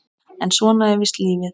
En svona er víst lífið.